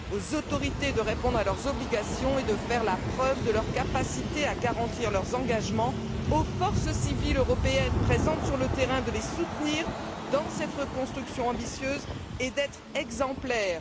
Il appartient aux autorités de répondre à leurs obligations et de faire la preuve de leur capacité à garantir leurs engagements, et aux forces civiles européennes présentes sur le terrain de les soutenir dans cette reconstruction ambitieuse et d'être exemplaires.